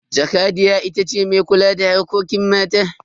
Jakadiya ita ce mai kula da harkokin mata.